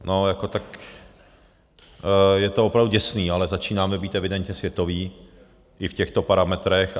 No, jako tak - je to opravdu děsný, ale začínáme být evidentně světoví i v těchto parametrech.